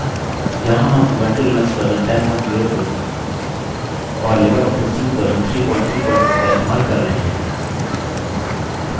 यहाँ हम Ubuntu Linux version 1004 और लिबरऑफिस सूट वर्ज़न 334 का इस्तेमाल कर रहे हैं